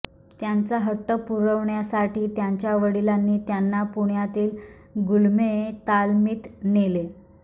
त्यांचा हट्ट पुरवण्यासाठी त्यांच्या वडिलांनी त्यांना पुण्यातील गुळमे तालमीत नेले